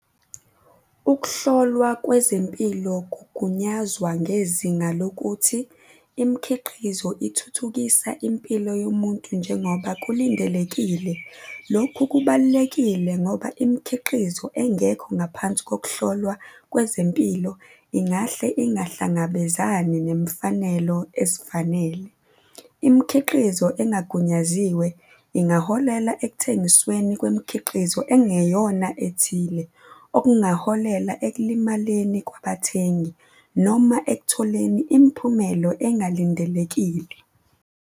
Ukuhlolwa kwezempilo kugunyazwa ngezinga lokuthi imikhiqizo ithuthukisa impilo yomuntu njengoba kulindelekile. Lokhu kubalulekile ngoba imikhiqizo engekho ngaphansi kokuhlolwa kwezempilo ingahle ingahlangabezani nemfanelo ezifanele. Imikhiqizo engagunyaziwe ingaholela ekuthengisweni kwemikhiqizo engeyona ethile, okungaholela ekulimaleni kwabathengi noma ekutholeni imiphumelo engalindelekile.